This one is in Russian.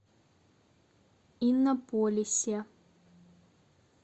иннополисе